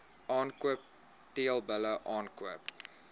aankoop teelbulle aankoop